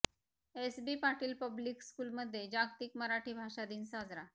SB Patil public school मध्ये जागतिक मराठी भाषादिन साजरा